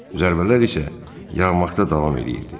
Zərbələr isə yağmaqda davam eləyirdi.